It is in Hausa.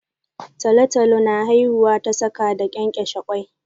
Talotalo na haihuwa ta saka da kenkeshe ƙwoi